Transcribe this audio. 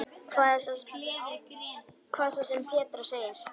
Hvað svo sem Petra segir.